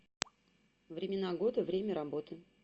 времена года время работы